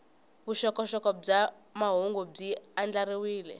vuxokoxoko bya mahungu byi andlariwile